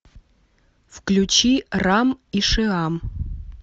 включи рам и шиам